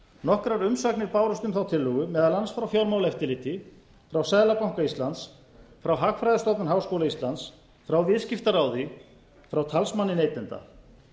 nokkrar umsagnir bárust um þá tillögu meðal annars frá fjármálaeftirliti frá seðlabanka íslands frá hagfræðistofnun háskóla íslandi frá viðskiptaráði frá talsmanni neytenda